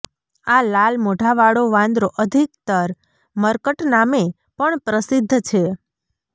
આ લાલ મોઢાવાળો વાંદરો અધિકતર મર્કટ નામે પણ પ્રસિદ્ધ છે